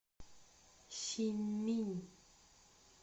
синьминь